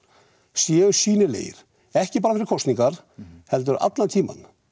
séu sýnilegir ekki bara fyrir kostningar heldur allan tímann